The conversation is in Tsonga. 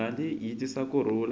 mali yi tisa ku rhula